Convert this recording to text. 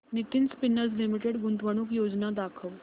Nitin spinners limited गुंतवणूक योजना दाखव